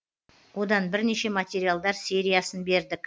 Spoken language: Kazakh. одан бірнеше материалдар сериясын бердік